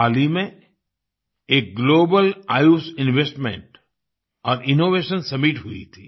हाल ही में एक ग्लोबल आयुष इन्वेस्टमेंट और इनोवेशन सम्मित हुई थी